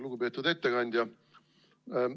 Lugupeetud ettekandja!